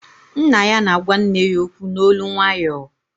Nna ya na-agwa nne ya okwu n'olu nwayọọ